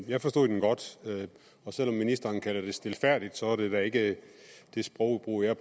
jeg forstod den godt og selv om ministeren kalder det stilfærdigt er det da ikke det sprogbrug jeg